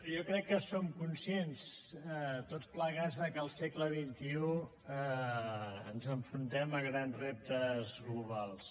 jo crec que som conscients tots plegats de que al segle xxi ens enfrontem a grans reptes globals